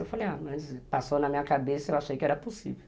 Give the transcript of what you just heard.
Eu falei, ah, mas passou na minha cabeça, eu achei que era possível.